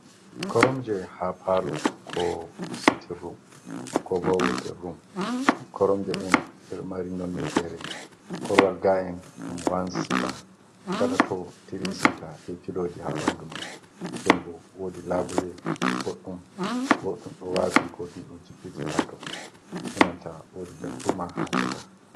Koromje haa paalo, ko siitin rum, ko bo wetirrum. Koromje ɗen ɗe ɗo mari nonne fere, korowal ga’en ɗum wansiita, gaɗa to tirisiita, be pilooji haa ɓanndu man. Nden bo woodi labule goɗɗum ɗo waafi, goɗɗum ɗo jippiti haato, enanta woodi darduma haa caka.